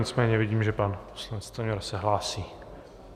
Nicméně vidím, že pan poslanec Stanjura se hlásí.